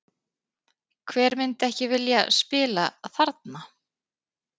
Hver myndi ekki vilja spila þarna?